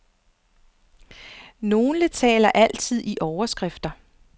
Nogle taler altid i overskrifter.